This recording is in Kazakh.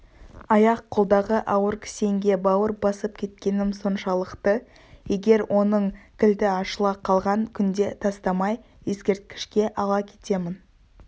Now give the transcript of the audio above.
аяқ-қолдағы ауыр кісенге бауыр басып кеткенім соншалықты егер оның кілті ашыла қалған күнде тастамай ескерткішке ала кетемін